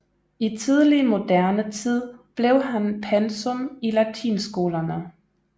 I tidlig moderne tid blev han pensum i latinskolerne